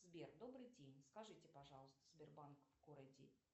сбер добрый день скажите пожалуйста сбербанк в городе